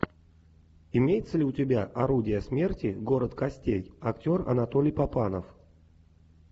имеется ли у тебя орудие смерти город костей актер анатолий папанов